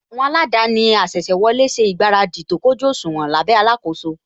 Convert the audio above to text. Àwọn aladaani asese wọlé ṣe ìgbáradì tó kójú òṣùwọ̀n lábẹ́ alakoso